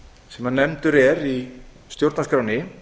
sem nefndur er í stjórnarskránni